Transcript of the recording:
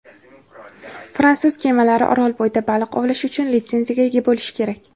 fransuz kemalari orol bo‘yida baliq ovlash uchun litsenziyaga ega bo‘lishi kerak.